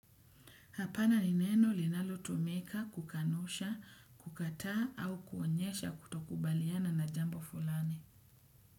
Hapana ni neno linalo tumika, kukanusha, kukataa au kuonyesha kutokubaliana na jambo fulani.